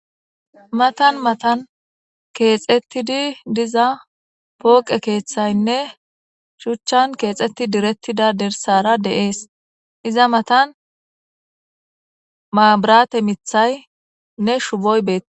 matan matan keexettidi diza pooqe keeththaynne shuchchan keexetti direttidda dersara de'ees iza matan mabirate miiththaynne shuboy betees